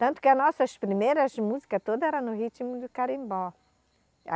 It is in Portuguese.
Tanto que a nossas primeiras músicas toda era no ritmo do carimbó.